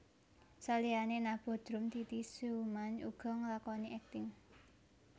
Saliyane nabuh drum Titi Sjuman uga nglakoni akting